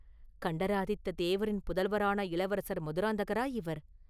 கண்டராதித்த தேவரின் புதல்வரான இளவரசர் மதுராந்தகரா இவர்!